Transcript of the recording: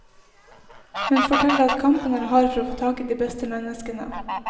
Hun forteller at kampen er hard for å få tak i de beste menneskene.